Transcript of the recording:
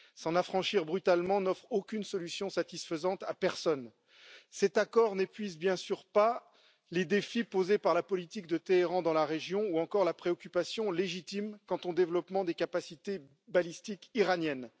S'en affranchir brutalement n'offre aucune solution satisfaisante à personne. Cet accord ne répond bien sûr pas aux problèmes posés par la politique de Téhéran dans la région ni à la préoccupation légitime quant au développement des capacités balistiques iraniennes.